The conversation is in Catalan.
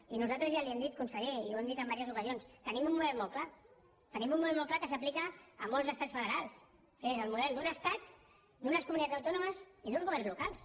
i nosaltres ja li ho hem dit conseller i ho hem dit en diverses ocasions tenim un model molt clar tenim un model molt clar que s’aplica a molts estats federals que és el model d’un estat d’unes comunitats autònomes i d’uns governs locals